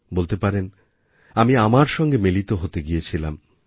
বলতে পারেন আমি আমার সঙ্গে মিলিত হতে গিয়েছিলাম